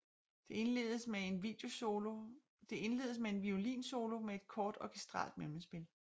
Det indledes med en violinsolo med et kort orkestralt mellemspil